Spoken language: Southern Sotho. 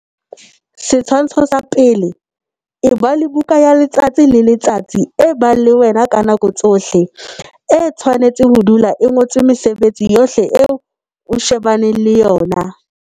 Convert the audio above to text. Setshwantsho sa 1. Eba le buka ya letsatsi le letsatsi e bang le wena ka nako tsohle. E tshwanetse ho dula e ngotswe mesebetsi yohle eo o shebaneng le yona.